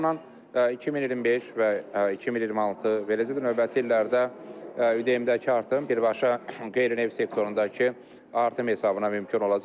O baxımdan 2025 və 2026 və növbəti illərdə ÜDM-dəki artım birbaşa qeyri-neft sektorundakı artım hesabına mümkün olacaq.